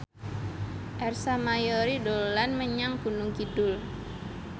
Ersa Mayori dolan menyang Gunung Kidul